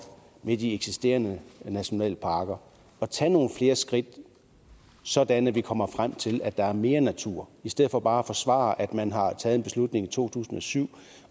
med de eksisterende nationalparker at tage nogle flere skridt sådan at vi kommer frem til at der er mere natur i stedet for bare at forsvare at man har taget en beslutning i to tusind og syv